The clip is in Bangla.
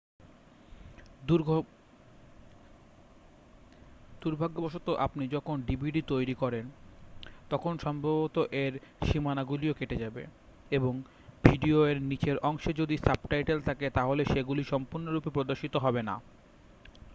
দুর্ভাগ্যবশত আপনি যখন dvd তৈরী করেন তখন সম্ভবত এর সীমানাগুলিও কেটে যাবে এবং ভিডিও এর নিচের অংশে যদি সাবটাইটেল থাকে তাহলে সেগুলি সম্পূর্ণরূপে প্রদর্শিত হবে না